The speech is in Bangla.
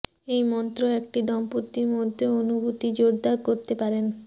এই মন্ত্র একটি দম্পতি মধ্যে অনুভূতি জোরদার করতে পারেন